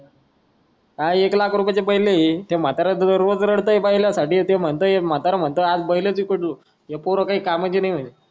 एकलाखरुपयाची बैला आहेत त्या म्हाताऱ्या रोजरोज रडतेय बैलासाठी ते म्हणतंय म्हतारा म्हणतोय आज बैला विकत घेऊ ही पोरं काय कामाची नाय हात